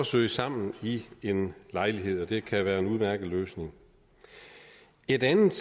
søge sammen i en lejlighed og det kan være en udmærket løsning et andet